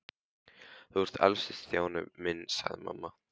Þú ert elstur Stjáni minn sagði mamma.